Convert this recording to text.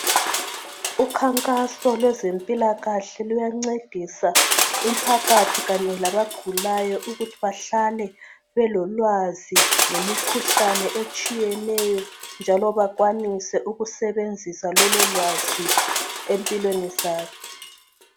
Ukhankaso kwezempilakahle luyancedisa umphakathi kanye labagulayo ukuthi bahlale belolwazi ngemikhuhlane etshiyeneyo njalo bakwanise ukusebenzisa lololwazi empilweni zabo.